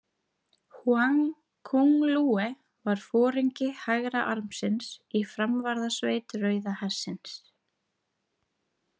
Húang Kúnglúeh var foringi hægra armsins i framvarðaveit Rauða hersins.